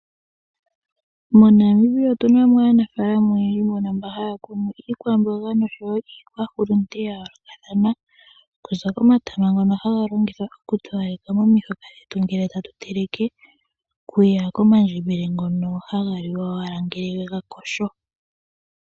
MoNamibia otuna mo aanafaalama oyendji . Mba haya kunu iikwamboga nosho wo iikwahulunde ya yoolokathana. Okuza komatama ngono haga longithwa oku towaleka momahoka. Omandjembele ngono haga liwa ngele wega yogo.